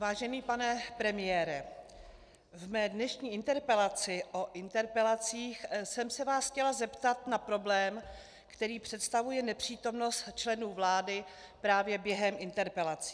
Vážený pane premiére, ve své dnešní interpelaci o interpelacích jsem se vás chtěla zeptat na problém, který představuje nepřítomnost členů vlády právě během interpelací.